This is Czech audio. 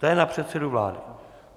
To je na předsedu vlády.